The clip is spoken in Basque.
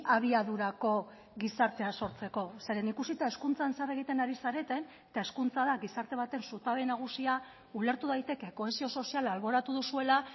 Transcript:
abiadurako gizartea sortzeko zeren ikusita hezkuntzan zer egiten ari zareten eta hezkuntza da gizarte baten zutabe nagusia ulertu daiteke kohesio soziala alboratu duzuela